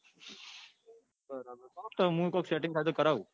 હા તો મુ કોક setting થતું હોય તો કરવું.